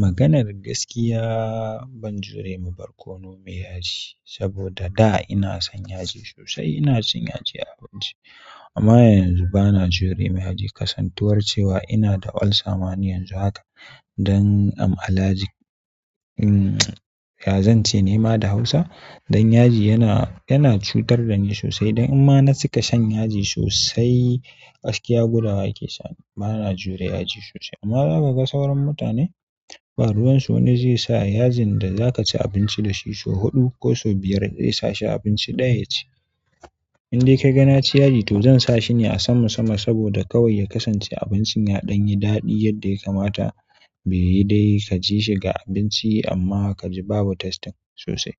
Maganar gaskiya ban jure ma barkono mai yaji saboda da ina son yaji sosai ina cin yaji a abinci amma yanzu bana jure ma yaji kasantuwar cewa ina da ulcer ma ni yanzu haka dan am alhaji ya zan ce ne ma da hausa don yaji yana yana cutar da ni sosai don in ma na cika shan yaji sosai gaskiya gudawa ya ke sa ni bana jure yaji sosai amma za ka ga sauran mutane ba ruwansu wani zai sa yajin da za ka ci abinci da shi sau huɗu ko sau biyar zai sa shi abinci ɗaya ya ci. In dai ka ga na ci yaji to zan sa shi ne a sama sama saboda kawai ya kasance abincin ya don yi daɗi yadda ya kamata be yi dai ka ji shi ga abinci amma ka ji babu tasting sosai